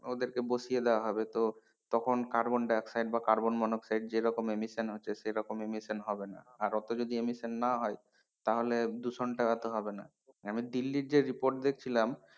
ওদেরকে বসিয়ে দেওয়া হবে তো তখন কার্বন ডাই অক্সাইড বা কার্বন মনোক্সাইড যেরকম emission হচ্ছে সেরকম emission হবে না আর অত যদি emission না হয়, তাহলে দূষণটা অত হবে না আমি দিল্লির যে report দেখছিলাম,